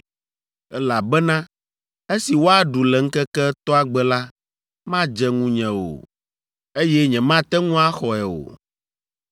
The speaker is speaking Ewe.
elabena esi woaɖu le ŋkeke etɔ̃a gbe la, madze ŋunye o, eye nyemate ŋu axɔe o.